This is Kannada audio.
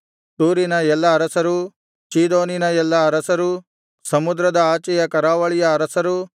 ತೂರಿನ ಎಲ್ಲಾ ಅರಸರು ಚೀದೋನಿನ ಎಲ್ಲಾ ಅರಸರು ಸಮುದ್ರದ ಆಚೆಯ ಕರಾವಳಿಯ ಅರಸರು